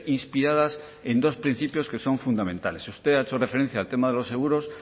inspiradas en dos principios que son fundamentales usted ha hecho referencia al tema de los seguros